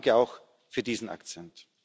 Danke auch für diesen Akzent.